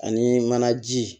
Ani manaji